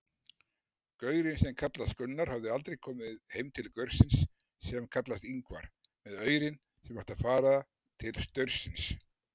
Gaurinn sem kallast Gunnar hafði aldrei komið heim til gaursins sem kallast Ingvar með aurinn sem átti að fara til staursins.